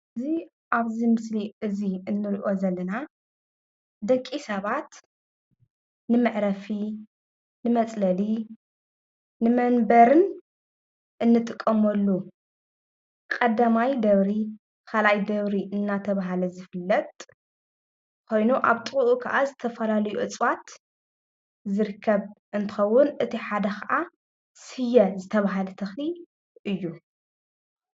እዚ ኣብዚ ምስሊ እዚ እንሪኦ ዘለና ደቂ ሰባት ንመዕረፊ፣ ንመፅለሊ ፣ንመንበርን እንጥቀመሉ ቐዳማይ ደብሪ ኻልኣይ ደብሪ እናተብሃለ ዝፍለጥ ኾይኑ ኣብ ጥቅኡ ኽዓ ዝተፈላለዩ እፅዋት ዝርከብ እንትኸውን እቲ ሓደ ኽኣ ስየ ዝተብሃለ ተኽሊ እዩ።